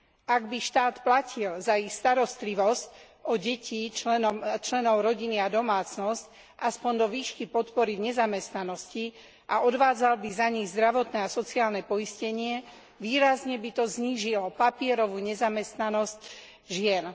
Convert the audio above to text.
Ak by štát platil za ich starostlivosť o deti, členov rodiny a domácnosť aspoň do výšky podpory v nezamestnanosti a odvádzal by za nich zdravotné a sociálne poistenie, výrazne by to znížilo papierovú nezamestnanosť žien.